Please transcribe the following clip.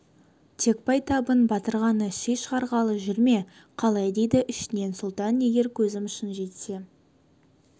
тек байтабын батыр ғана ши шығарғалы жүр ме қалай дейді ішінен сұлтан егер көзім шын жетсе